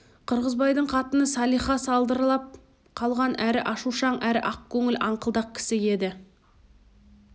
қырғызбайдың қатыны салиха салдырлап қалған әрі ашушаң әрі ақкөңіл аңқылдақ кісі еді